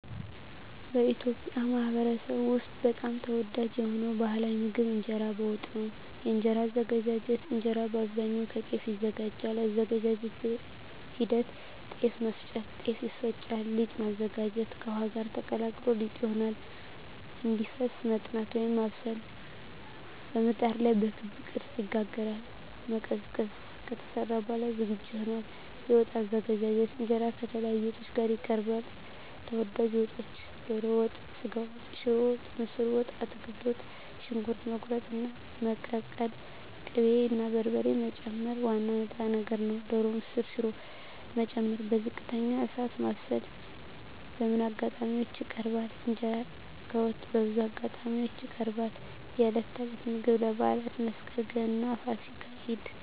በኢትዮጵያ ማኅበረሰብ ውስጥ በጣም ተወዳጅ የሆነው ባሕላዊ ምግብ እንጀራ በወጥ ነው። የእንጀራ አዘገጃጀት እንጀራ በአብዛኛው ከጤፍ ይዘጋጃል። የአዘገጃጀት ሂደት ጤፍ መፍጨት – ጤፍ ይፈጫል ሊጥ ማዘጋጀት – ከውሃ ጋር ተቀላቅሎ ሊጥ ይሆናል እንዲፈስ መጥናት (ማብሰል) – በምጣድ ላይ በክብ ቅርጽ ይጋገራል መቀዝቀዝ – ከተሰራ በኋላ ዝግጁ ይሆናል የወጥ አዘገጃጀት እንጀራ ከተለያዩ ወጦች ጋር ይቀርባል። ተወዳጅ ወጦች ዶሮ ወጥ ስጋ ወጥ ሽሮ ወጥ ምስር ወጥ አትክልት ወጥ . ሽንኩርት መቁረጥና መቀቀል ቅቤ እና በርበሬ መጨመር ዋና ንጥረ ነገር (ዶሮ፣ ምስር፣ ሽሮ…) መጨመር በዝቅተኛ እሳት ማብሰል በምን አጋጣሚዎች ይቀርባል? እንጀራ ከወጥ በብዙ አጋጣሚዎች ይቀርባል፦ የዕለት ተዕለት ምግብ የበዓላት (መስቀል፣ ገና፣ ፋሲካ፣ ኢድ)